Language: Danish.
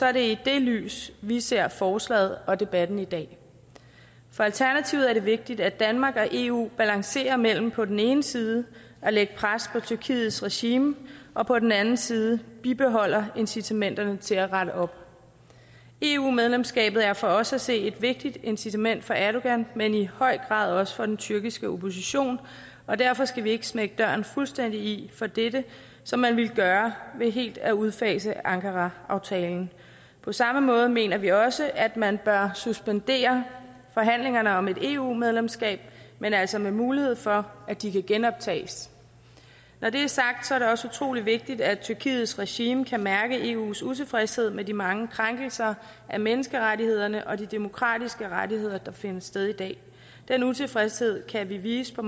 er det i det lys vi ser forslaget og debatten i dag for alternativet er det vigtigt at danmark og eu balancerer mellem på den ene side at lægge pres på tyrkiets regime og på den anden side bibeholder incitamenterne til at rette op eu medlemskabet er for os at se et vigtigt incitament for erdogan men i høj grad også for den tyrkiske opposition og derfor skal vi ikke smække døren fuldstændig i for dette som man ville gøre ved helt af udfase ankaraaftalen på samme måde mener vi også at man bør suspendere forhandlingerne om et eu medlemskab men altså med mulighed for at de kan genoptages når det er sagt er det også utrolig vigtigt at tyrkiets regime kan mærke eus utilfredshed med de mange krænkelser af menneskerettighederne og de demokratiske rettigheder der finder sted i dag den utilfredshed kan vi vise på